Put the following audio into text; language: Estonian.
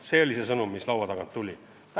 See oli sõnum, mis laua tagant tuli.